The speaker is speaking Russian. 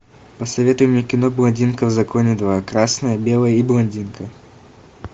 посоветуй мне кино блондинка в законе два красное белое и блондинка